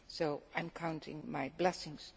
and I am counting my blessings.